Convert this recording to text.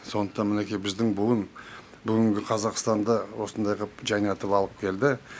сондықтан мінеки біздің буын бүгінгі қазақстанды осындай ғып жаңартып алып келді